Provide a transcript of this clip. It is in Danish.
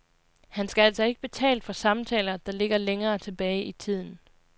Han skal altså ikke betale for samtaler, der ligger længere tilbage i tiden.